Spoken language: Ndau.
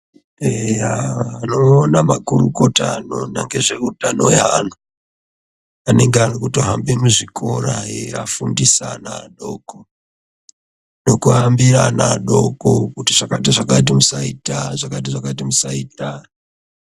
Eya tinoona makurukota anoona ngezveutano hwevantu anenge arikutohamba muzvikora aiafundisa ana adoko nekuhambira ana adoko kuti zvakati nezvakati musaita .